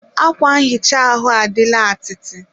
akwa nhicha ahụ adịla atịtị